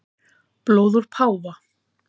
Blóð úr páfa